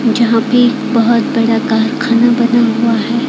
जहां पे बहुत बड़ा कारखाना बना हुआ है।